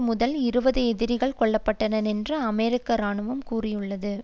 முதல் இருபது எதிரிகள் கொல்ல பட்டனர் என்று அமெரிக்க இராணுவம் கூறிற்று